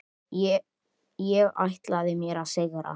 Ég ætlaði mér að sigra.